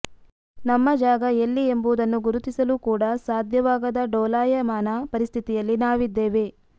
ನಮ್ಮ ಜಾಗ ಎಲ್ಲಿ ಎಂಬುದನ್ನು ಗುರುತಿಸಲು ಕೂಡಾ ಸಾಧ್ಯವಾಗದ ಡೋಲಾಯಮಾನ ಪರಿಸ್ಥಿತಿಯಲ್ಲಿ ನಾವಿದ್ದೇವೆ